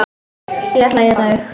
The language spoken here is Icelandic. Ég ætla að éta þig.